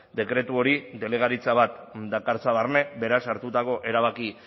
dekretu hori delegaritza bat dakartza barne beraz hartutako erabaki